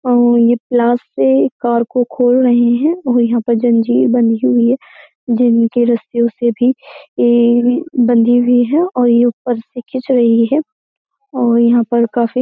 ये प्लास से कार को खोल रहे हैं और यहां पर जंजीर बंधी हुई है जिनके रस्सियों से भी ये बंधी हुई है और ये ऊपर से खींच रही है और यहाँ पर काफी --